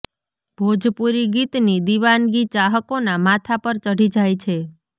ભોજપુરી ગીતની દીવાનગી ચાહકોના માથા પર ચઢી જાય છે